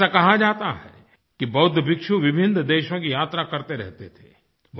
ऐसा कहा जाता है कि बौद्ध भिक्षु विभिन्न देशों की यात्रा करते रहते थे